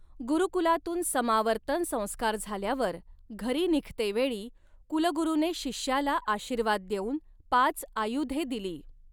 गुरुकुलातून समावर्तन संस्कार झाल्यावर घरी निघतेवेळी कुलगुरुने शिष्याला आशीर्वाद देऊन पाच आयुधे दिली.